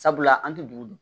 Sabula an tɛ dugu dun